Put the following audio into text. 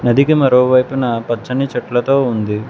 దిగి మరోవైపున పచ్చని చెట్లతో ఉంది.